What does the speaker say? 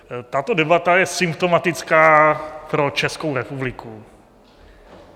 Tato debata je symptomatická pro Českou republiku.